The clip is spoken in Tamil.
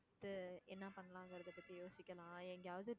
அடுத்து என்ன பண்ணலாங்கிறதை பத்தி யோசிக்கலாம். எங்கேயாவது